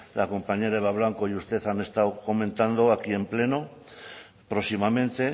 la compañera eva blanco y usted han estado comentado aquí en pleno próximamente